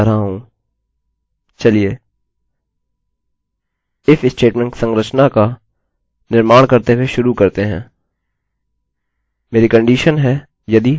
चलिए if statement संरचना का निर्माण करते हुए शुरू करते हैं